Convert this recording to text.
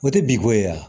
O tɛ binko ye wa